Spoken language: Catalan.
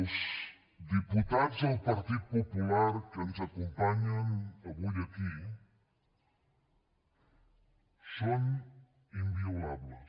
els diputats del partit popular que ens acompanyen avui aquí són inviolables